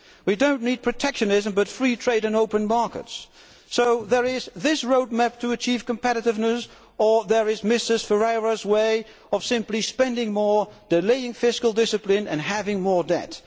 We do not need protectionism, but free trade and open markets, so there is that roadmap to achieve competitiveness, or there is Mrs Ferreira's way of simply spending more, delaying fiscal discipline and having more debt.